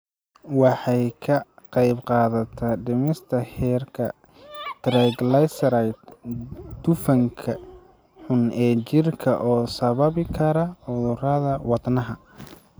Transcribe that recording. Waxay ka qaybqaadataa dhimista heerarka triglycerides, dufanka xun ee jirka oo sababi kara cudurrada wadnaha.